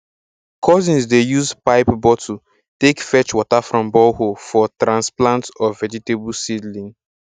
cousins dey use pipe bottle take fetch water from borehole for transplant of vegetable seedling